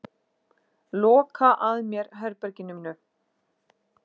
Loka að mér herberginu mínu.